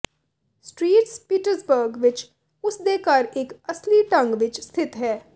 street Petersburg ਵਿੱਚ ਉਸ ਦੇ ਘਰ ਇੱਕ ਅਸਲੀ ਢੰਗ ਵਿੱਚ ਸਥਿਤ ਹੈ